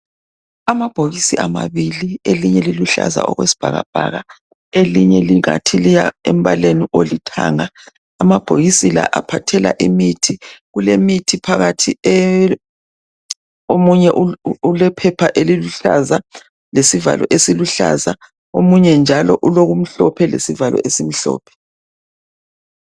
Amabhokisi esibhedlela elinye liluhlaza okwesbhakabhaka, elinye ngathi liyakuthanga , kulemithi phakathi omunye ulephepha eliluhlaza lesivalo esiluhlaza omunye njalo umhlophe lesivalo esimhlophe .